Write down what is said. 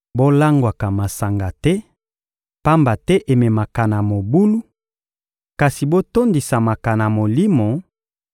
Bolangwaka masanga te, pamba te ememaka na mobulu; kasi botondisamaka na Molimo,